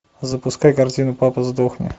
запускай картину папа сдохни